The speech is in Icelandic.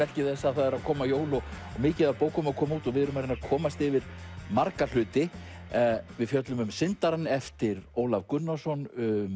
merki þess að það eru að koma jól og mikið af bókum að koma út við erum að reyna að komast yfir marga hluti við fjöllum um syndarann eftir Ólaf Gunnarsson